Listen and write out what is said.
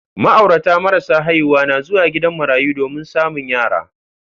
Ma'aurata marasa haihuwa na zuwa gidan marayu domin samu yara.